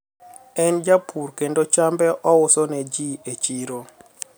en japur kendo chambe ouso neji e chiro